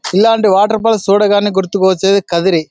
ఇలాంటి water falls చూడగానే గుర్తుకొచ్చేది కదిరి.